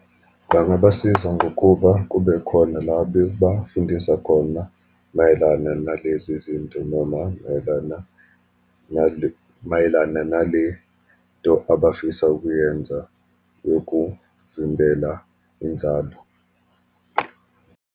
Bangabasiza ngokuba kube khona labebafundisa khona mayelana nalezi zinto, noma mayelana mayelana nale nto abafisa ukuyenza yokuvimbela inzalo.